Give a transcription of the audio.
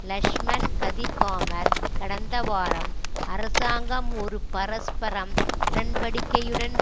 லக்ஷ்மன் கதிர்காமர் கடந்த வாரம் அரசாங்கம் ஒரு பரஸ்பரம் உடன்படிக்கையுடன்